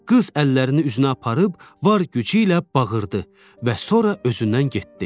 Qız əllərini üzünə aparıb var gücü ilə bağırırdı və sonra özündən getdi.